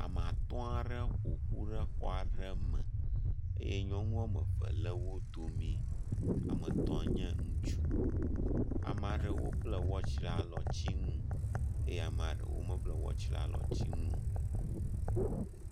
Ame atɔ̃ aɖewo ƒoƒu ɖe xɔ aɖe me eye nyɔnu woameve le wo domi. Ame etɔ̃ nye ŋutsu. Ame aɖewo bla wɔtsi ɖe alɔtsinu ye ame ɖewo mebla wɔtsi ɖe alɔtsinue.